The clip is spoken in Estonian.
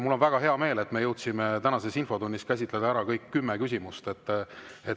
Mul on väga hea meel, et me jõudsime tänases infotunnis käsitleda ära kõik kümme küsimust.